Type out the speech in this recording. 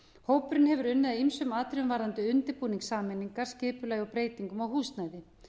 hópurinn hefur unnið að ýmsum atriðum varðandi undirbúning sameiningar skipulagi og breytingum á húsnæði